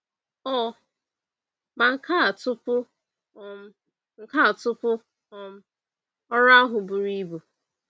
Ọ ma nka tupu um nka tupu um ọrụ ahụ buru ibu?